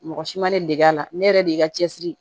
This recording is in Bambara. Mɔgɔ si ma ne dege a la ne yɛrɛ de y'i ka cɛsiri